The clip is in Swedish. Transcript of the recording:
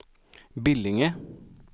Billinge